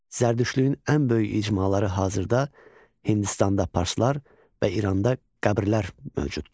Zərdüştlüyün ən böyük icmaları hazırda Hindistanda parsalar və İranda qəbirlər mövcuddur.